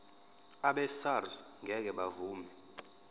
abesars ngeke bavuma